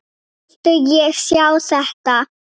Vildi ég sjá þetta?